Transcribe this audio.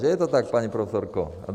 Že je to tak, paní profesorko?